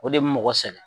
O de bɛ mɔgɔ sɛgɛn